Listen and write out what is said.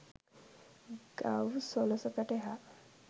ගව් සොළසකට එහා